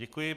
Děkuji.